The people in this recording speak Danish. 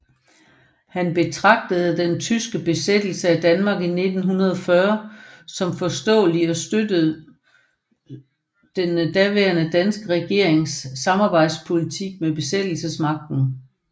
Han betragtede den tyske besættelse af Danmark i 1940 som forståelig og støttede den daværende danske regerings samarbejdspolitik med besættelsesmagten